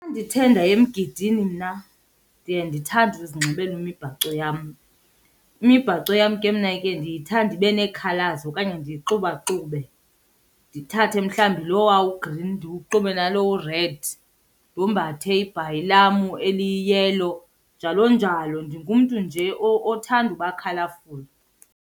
Ndithe ndaye emgidini mna, ndiye ndithande uzinxibela imibhaco yam. Imibhaco yam ke mna ke ndiyithanda ibe nee-colours okanye ndiyixubaxube. Ndithathe mhlawumbi lowa u-green ndiwuxube nalo u-red, ndombathe ibhayi lam eli-yellow, njalo njalo. Ndingumntu nje othanda uba colourful.